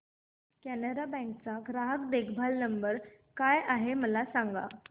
Canara bank चा ग्राहक देखभाल नंबर काय आहे मला सांगा